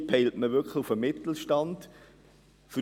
Hier peilt man wirklich den Mittelstand an.